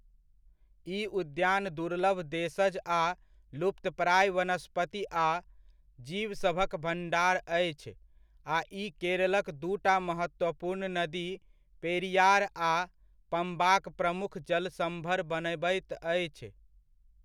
ई उद्यान दुर्लभ देशज आ लुप्तप्राय वनस्पति आ जीवसभक भण्डार अछि, आ ई केरलक दूटा महत्वपूर्ण नदी पेरियार आ पम्बाक प्रमुख जलसम्भर बनबैत अछि।